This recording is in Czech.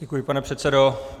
Děkuji, pane předsedo.